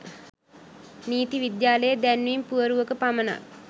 නීති විද්‍යාලයේ දැන්වීම් පුවරුවක පමණක්